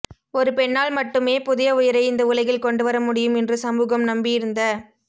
ஒரு பெண்ணால் மட்டுமே புதிய உயிரை இந்த உலகில் கொண்டுவர முடியும் என்று சமூகம் நம்பியிருந்த